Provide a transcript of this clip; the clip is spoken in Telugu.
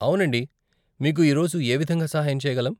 అవునండి, మీకు ఈరోజు ఏ విధంగా సహాయం చేయగలం?